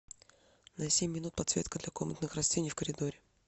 на семь минут подсветка для комнатных растений в коридоре